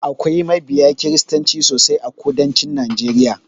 Akwai mabiya kiristanci sosai a kudancin najeriya.